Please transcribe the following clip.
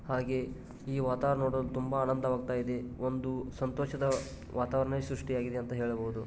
ಹಾಗೆ ಈ ವಾತಾವರಣ ನೋಡಲು ತುಂಬಾ ಆನಂದವಾಗುತ್ತಿದೆ ಒಂದು ಸಂತೋಷದ ವಾತಾವರಣ ಸೃಷ್ಟಿಯಾಗಿದೆ ಅಂತ ಹೇಳಬಹುದು.